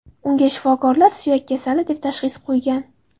Unga shifokorlar suyak kasali deb tashxis qo‘ygan.